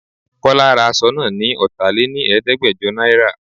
Kọ́lá ra aṣọ náà ni ọta lé ní Ẹ̀ẹ́dẹ́gbẹjọ náírà.